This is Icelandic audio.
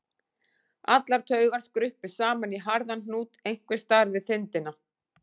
Allar taugar skruppu saman í harðan hnút einhvers staðar við þindina